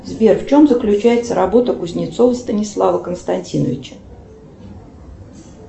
сбер в чем заключается работа кузнецова станислава константиновича